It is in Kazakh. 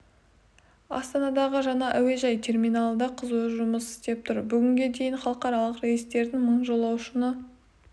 астанадағы жаңа әуежай терминалы да қызу жұмыс істеп тұр бүгінге дейін халықаралық рейстерден мың жолаушыны